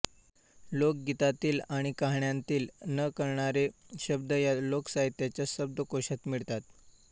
लोकगीतांतील आणि कहाण्यांतील न कळणारे शब्द या लोकसाहित्याच्या शब्दकोशात मिळतात